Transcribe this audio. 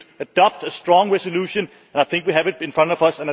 we should adopt a strong resolution, and I think we have it in front of us.